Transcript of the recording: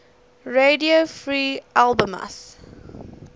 radio free albemuth